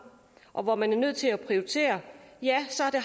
og hvor man er nødt til at prioritere